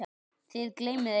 Þið gleymið einu.